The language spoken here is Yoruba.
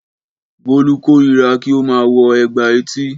Bọ́lú kórira kí ó máa wo ègbà etí.